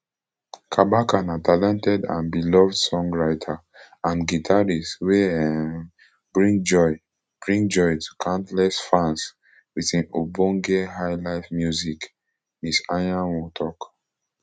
kabaka na talented and beloved songwriter and guitarist wey um bring joy bring joy to countless fans wit im ogbonge highlife music ms anyanwu tok